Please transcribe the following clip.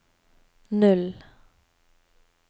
null